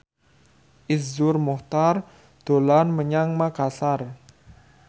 Iszur Muchtar dolan menyang Makasar